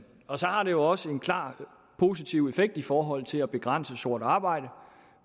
og så har det jo også en klart positiv effekt i forhold til at begrænse sort arbejde